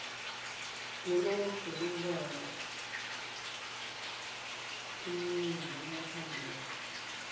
iroga lombala eminengi liyathandeka